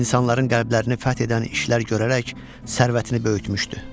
İnsanların qəlblərini fəth edən işlər görərək sərvətini böyütmüşdü.